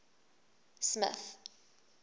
smith